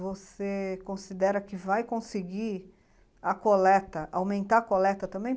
Você considera que vai conseguir a coleta, aumentar a coleta também?